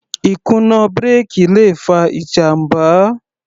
Ìkùnà bírèkì le fa ìjàmbá.